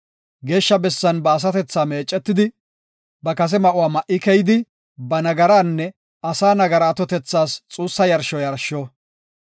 Geeshsha bessan ba asatethaa meecetidi, ba kase ma7uwa ma7i keyidi ba nagaraanne asaa nagaraa atotethas xuussa yarsho yarshsho.